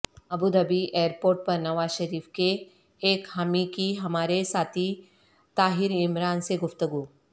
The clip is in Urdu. ابوظہبی ایئرپورٹ پر نواز شریف کے ایک حامی کی ہمارے ساتھی طاہرعمران سے گفتگو